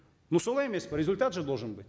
ну солай емес пе результат же должен быть